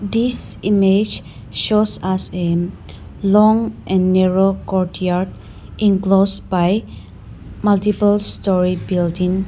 This image shows us am long and narrow courtyard enclosed by multiple story building.